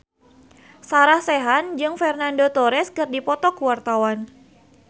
Sarah Sechan jeung Fernando Torres keur dipoto ku wartawan